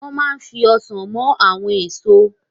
Wọ́n ma fi Ọsàn mọ àwọn èso